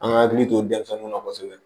An ka hakili to denmisɛnninw na kosɛbɛ